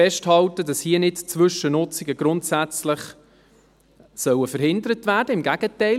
Ich will festhalten, dass hier nicht Zwischennutzungen grundsätzlich verhindert werden sollen, im Gegenteil: